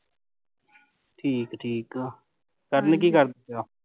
ਠੀਕ ਠੀਕ ਆ, ਕਰਨ ਕੀ